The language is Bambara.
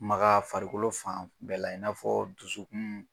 Maka farikolo fan bɛɛ la, i n'a fɔ dusukun